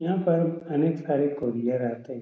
यहाँ पर अनेक सारे कुरियर आते --